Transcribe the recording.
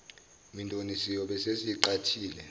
mindeni siyobe sesiyiqhathile